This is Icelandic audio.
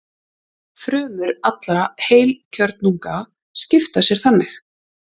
Frumur allra heilkjörnunga skipta sér þannig.